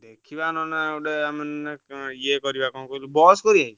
ଦେଖିବା ନହେଲେ ଗୋଟେ ଆମେ ନହେଲେ ଇଏ କରିଆ କଣ କହିଲୁ bus କରିଆ?